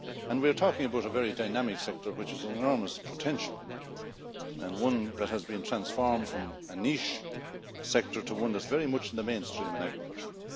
We are talking about a very dynamic sector which has enormous potential and one that has been transformed from a niche sector to one that is very much in the mainstream in agriculture.